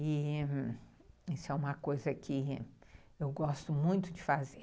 E isso é uma coisa que eu gosto muito de fazer.